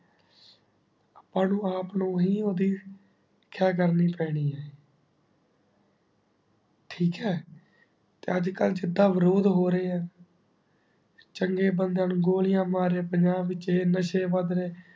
ਆਪਾਂ ਨੂ ਆਪ ਨੂ ਹੀ ਓੜੀ ਖਯਾ ਕਰਨੀ ਪੀਣੀ ਆ ਠੀਕ ਹੈ ਤੇ ਅੱਜ ਕਲ ਜਿੰਦਾ ਵਿਰੋਧ ਹੋ ਰਹੀ ਹੈ ਚੰਗੇ ਬਾੰਦਿਯਾ ਨੂ ਗੋਲਿਯ ਮਾਰੇ ਪੰਜਾਬ ਵਿਚ ਆਯ ਨਸ਼ੇ ਵਾਦ ਰਹੇ